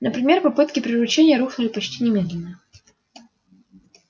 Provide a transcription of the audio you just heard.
например попытки приручения рухнули почти немедленно